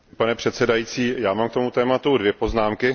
Pane předsedající, já mám k tomu tématu dvě poznámky.